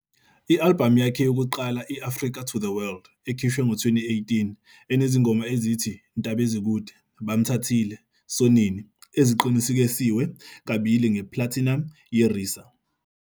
I-albhamu yakhe yokuqala i- "Africa To The World", ekhishwe ngo-2018, enezingoma ezithi "Ntaba Ezikude", "Bamthathile", "Sonini", eziqinisekiswe kabili nge-platinum yiRiSA.